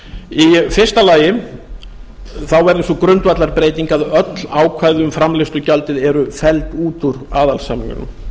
í fyrsta lagi verður sú grundvallarbreyting að öll ákvæði um framleiðslugjaldið eru felld út úr aðalsamningnum